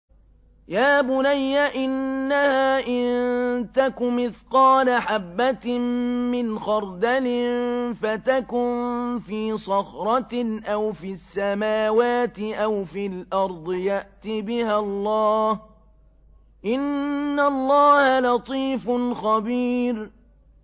يَا بُنَيَّ إِنَّهَا إِن تَكُ مِثْقَالَ حَبَّةٍ مِّنْ خَرْدَلٍ فَتَكُن فِي صَخْرَةٍ أَوْ فِي السَّمَاوَاتِ أَوْ فِي الْأَرْضِ يَأْتِ بِهَا اللَّهُ ۚ إِنَّ اللَّهَ لَطِيفٌ خَبِيرٌ